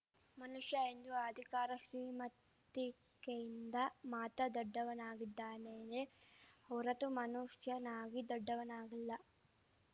ಮನುಷ್ಯ ಇಂದು ಅಧಿಕಾರ ಶ್ರೀಮತಿಕೆಯಿಂದ ಮಾತ ದೊಡ್ಡವನಾಗಿದ್ದಾನೆಯೇ ಹೊರತು ಮನುಷ್ಯನಾಗಿ ದೊಡ್ಡವನಾಗಿಲ್ಲ